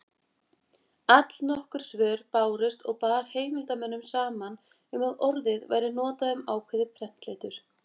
Allnokkur svör bárust og bar heimildarmönnum saman um að orðið væri notað um ákveðið prentletur.